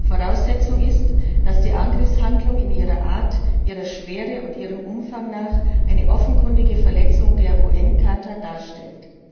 Voraussetzung ist, dass die Angriffshandlung in ihrer Art, ihrer Schwere und ihrem Umfang nach eine offenkundige Verletzung der UN Charta darstellt.